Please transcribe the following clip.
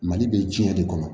Mali bɛ diɲɛ de kɔnɔ